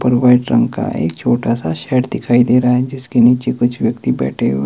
और व्हाइट रंग का एक छोटा सा शेड दिखाई दे रहा है जिसके नीचे कुछ व्यक्ति बैठे हुए--